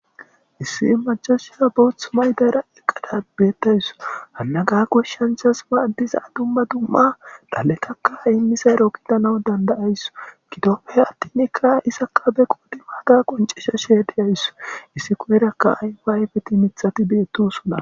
issi macashiya bootha mayidara eqqada beettaysu hannaka koshshanchas maaddiza dumma dumma dhaletakka imisa rookidana dandayaysu kitopfe attinikka isaka be qudi maaga qoncesha sheediyayssu issi koyrakka ayfa ayfeti mithati beettosuna